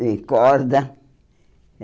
De corda.